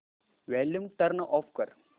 volume turn off कर